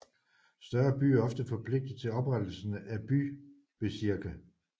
Større byer er ofte forpligtet til oprettelsen af bybezirke